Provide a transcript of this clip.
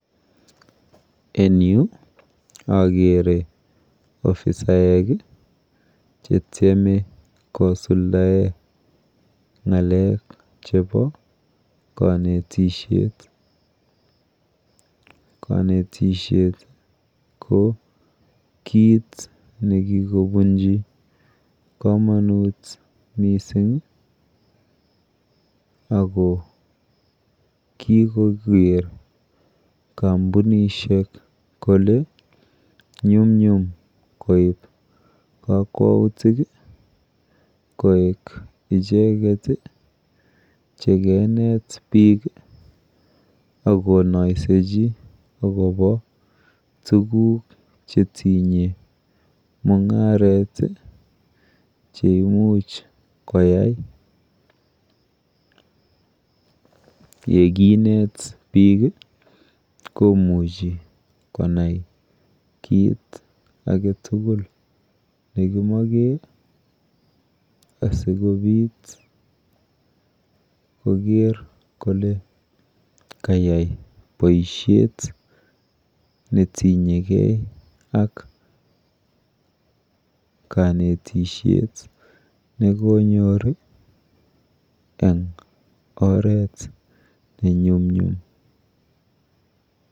Eng yu akere ofisaek chetyeme kosuldae ng'alek chepo kanetishhet. Kanetishekt ko kit nekikobunji komonut mising ako kikoker kambunishek kole nyumnyum koip kakwautik koek icheket chikenet biik akonoisechi akopo tuguk chetinyegei ak mung'aret cheimuch koyai. Yekinat biik komuchi konai kit aketugul nekimoche asikopit koker kole kayai boishet netinyegei ak kanetishet nekonyor eng oret nenyumnyum.